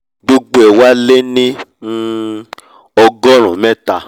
gbogbo ẹ̀ wá lé ní um ọgọ́rùn-ún mẹ́ta